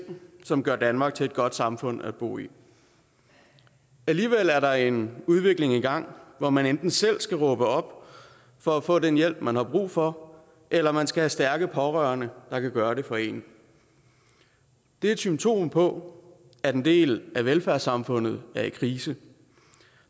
som gør danmark til et godt samfund at bo i alligevel er der en udvikling i gang hvor man enten selv skal råbe op for at få den hjælp man har brug for eller man skal have stærke pårørende der kan gøre det for en det et symptom på at en del af velfærdssamfundet er i krise